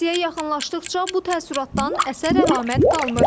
Əraziyə yaxınlaşdıqca bu təəssüratdan əsər-əlamət qalmır.